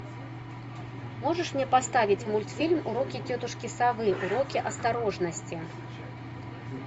можешь мне поставить мультфильм уроки тетушки совы уроки осторожности